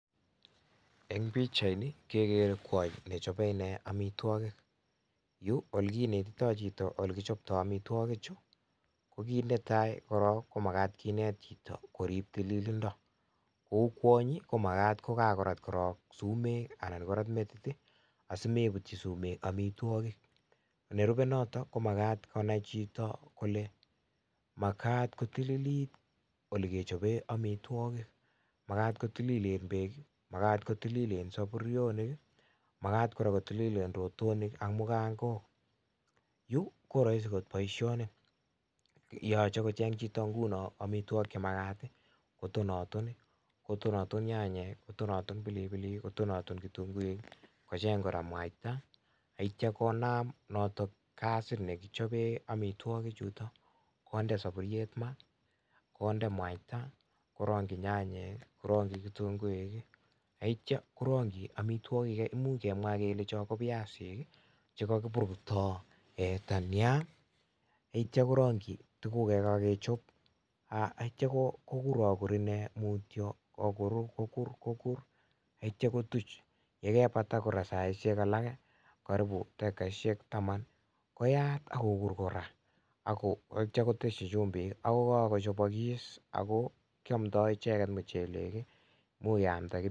Eng' pikchaini kegere kwony nechape inee amitwogik, olekinetitoy chito ole kichaptoy amitwogik chu kokiit netei korok ko makat kinet chito korip tililindo ou kwonyi ko makat ko kagorat korok sumek anan korat metit asimeiputchi sumek amitwogik, nerupe notok ko makat konay chito kole makat kotililit ole kechape amitwogik, makat ko tililen peek, makat ko tililen sapurionik, makat ko tililen koraa rotonik ak mukangok, yu ko rahisi akot boisioni yachei kocheng' chito nguno amitwogik che makat kotonaton nyanyek, kotonaton pilipilik, kotonaton kitunguik, kocheng' koraa mwaita, neityo konam notok gasit nekichapee amitwogik chutok, kondee sapuriet maat, kondee mwaita, korang'ji nyanyek, korang'ji kitunguik, neityo korang'ji amitwogik gei imuch kemwa kele cho ko viasik chekagipurto dania neityo korang'ji tuguk kei kagechop, neityo koguragur inee mutyo akokurakokur neityo kotuch yekepata koraa saishek alake [karibu dakikaishek taman koyat akokur koraa akotyo koteshi chumbik ako kagochapakis ako kiamdoe ichegek michelek.